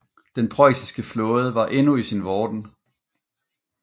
Den preussiske flåde var endnu i sin vorden